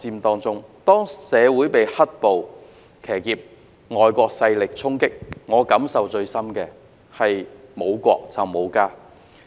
當社會被"黑暴"騎劫及遭到外國勢力衝擊，我感受最深的是沒有國便沒有家。